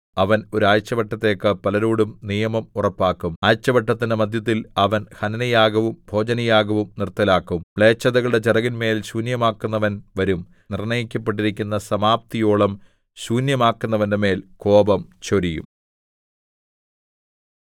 അവൻ ഒരു ആഴ്ചവട്ടത്തേക്ക് പലരോടും നിയമം ഉറപ്പാക്കും ആഴ്ചവട്ടത്തിന്റെ മദ്ധ്യത്തിൽ അവൻ ഹനനയാഗവും ഭോജനയാഗവും നിർത്തലാക്കും മ്ലേച്ഛതകളുടെ ചിറകിന്മേൽ ശൂന്യമാക്കുന്നവൻ വരും നിർണ്ണയിക്കപ്പെട്ടിരിക്കുന്ന സമാപ്തിയോളം ശൂന്യമാക്കുന്നവന്റെ മേൽ കോപം ചൊരിയും